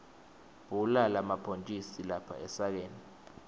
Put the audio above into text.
bhula lamabhontjisi lapha esakeni